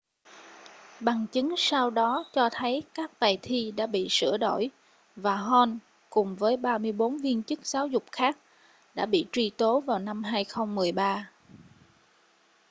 bằng chứng sau đó cho thấy các bài thi đã bị sửa đổi và hall cùng với 34 viên chức giáo dục khác đã bị truy tố vào năm 2013